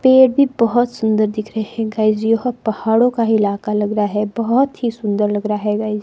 पेड़ भी बहोत सुंदर दिख रहे हैं गाइस यह पहाड़ों का इलाका लग रहा है बहोत ही सुंदर लग रहा है गाइस --